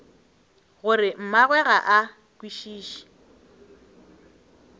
gore mmagwe ga a kwešiše